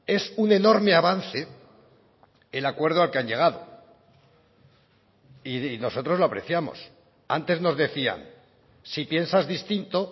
es un enorme avance el acuerdo al que han llegado y nosotros lo apreciamos antes nos decían si piensas distinto